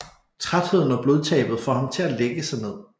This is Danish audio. Trætheden og blodtabet får ham til at lægge sig ned